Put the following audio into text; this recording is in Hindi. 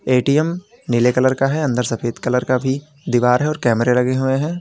ए_टी_एम नीले कलर का है अंदर सफेद कलर का भी दीवार है अंदर कैमरे लगे हुएं हैं।